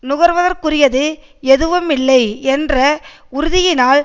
நுகர்வதற்குரியது எதுவுமில்லை என்ற உறுதியினால்